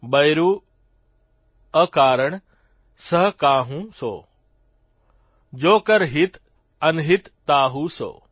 બયરૂં અકારણ સહ કાહૂં સો જો કર હિત અનહિત તાહૂ સો